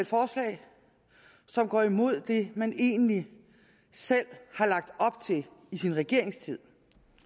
forslag som går imod det man egentlig selv har lagt op til i sin regeringstid